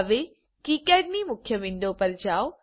હવે કિકાડ ની મુખ્ય વિન્ડો પર જાઓ